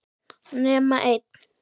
Nema einn.